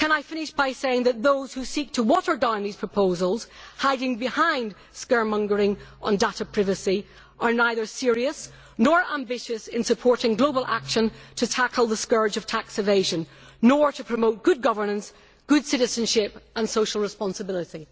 I would like to finish by saying that those who seek to water down these proposals, hiding behind scaremongering on data privacy, are neither serious nor ambitious in supporting global action to tackle the scourge of tax evasion and to promote good governance, good citizenship and social responsibility.